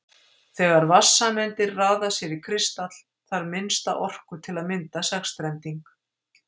þegar vatnssameindir raða sér í kristall þarf minnsta orku til að mynda sexstrending